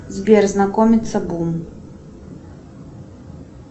сбер знакомиться бум